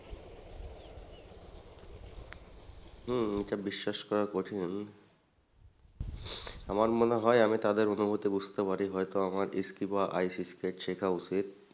হম এটা বিশ্বাস করা কঠিন আমার মনে হয় আমি তাদের অনুভূতি বুঝতেপারি হয়তো আমার বা ice-skate শেখা উচিত।